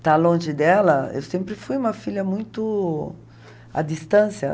estar longe dela, eu sempre fui uma filha muito à distância.